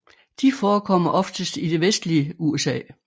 De forekommer oftest i det vestlige USA